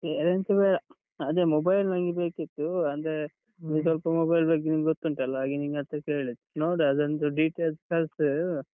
ಬೇರೆನ್ಸ ಬೇಡ, ಅದೇ mobile ನಂಗೆ ಬೇಕಿತ್ತು, ಅಂದ್ರೆ ನಿಮಗೆ ಸ್ವಲ್ಪ mobile ಬಗ್ಗೆ ನಿಮ್ಗೊತ್ತುಂಟಲ್ಲ? ಹಾಗೆ ನಿನ್ ಹತ್ರ ಕೇಳಿದ್ದು, ನೋಡು ಅದೊಂದು details ಕಳ್ಸು.